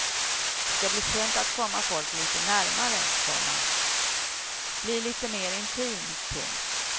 Det ska bli skönt att komma folk lite närmare, komma bli lite mera intim. punkt